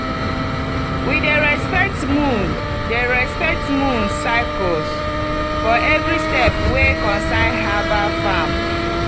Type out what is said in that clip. we dey respect moon dey respect moon cycles for every step wey concern herbal farm.